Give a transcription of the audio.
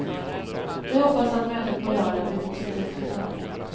Vi hoppas att mötet på lördag blir positivt för tunneln.